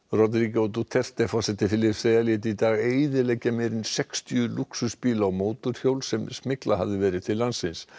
Rodrigo Duterte forseti Filippseyja lét í dag eyðileggja meira en sextíu lúxusbíla og mótorhjól sem smyglað hafði verið til landsins